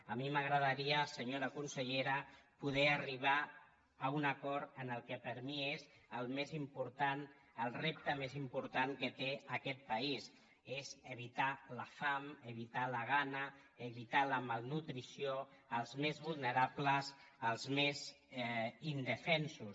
a mi m’agradaria senyora consellera poder arribar a un acord en el que per mi és el més important el repte més important que té aquest país és evitar la fam evitar la gana evitar la malnutrició als més vulnerables als més indefensos